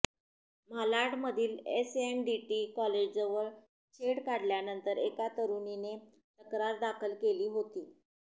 मालाडमधील SNDT कॉलेजजवळ छेड काढल्यानंतर एका तरुणीने तक्रार दाखल केली होती